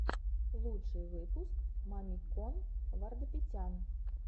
лучший выпуск мамикон вардапетян